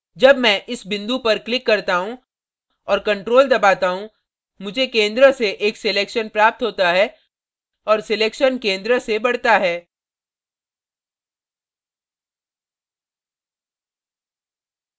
जब मैं इस बिंदु पर click करता हूँ और ctrl दबाता हूँ मुझे केंद्र से एक selection प्राप्त होता है और selection केंद्र से बढ़ता है